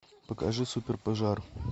покажи суперпожар